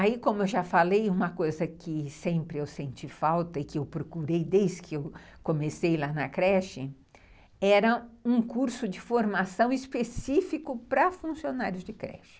Aí, como eu já falei, uma coisa que sempre eu senti falta e que eu procurei desde que eu comecei lá na creche, era um curso de formação específico para funcionários de creche.